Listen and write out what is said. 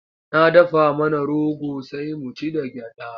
Na dafa mana rogo sai mu ci da gyaɗa.